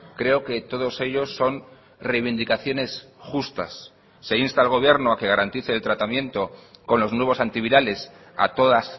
creo que todos ellos son reivindicaciones justas se insta al gobierno a que garantice el tratamiento con los nuevos antivirales a todas